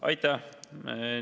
Aitäh!